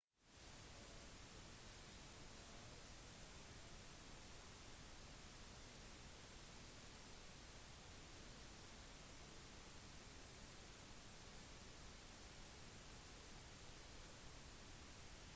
opprinnelig gav han alfabetet hangeul navnet hunmin jeongeum som betyr «de riktige lydene for instruksen til folket»